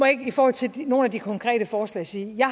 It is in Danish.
ikke i forhold til nogle af de konkrete forslag sige at jeg